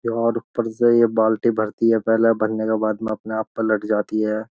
यार ऊपर से ये बाल्टी भरती है पहले भरने के बाद में अपने आप पलट जाती है।